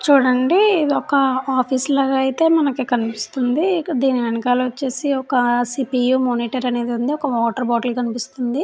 చూడండి ఇది ఒక ఆఫీసు లాగా అయితే మనకి కనిపిస్తుంది. దీని వెనకాల వచ్చేసి ఒక సిపియు మోనిటర్ అనేది ఉంది. ఒక వాటర్ బాటిల్ కనిపిస్తుంది.